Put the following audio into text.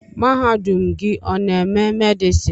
Mahadum gị ọ n'eme medison?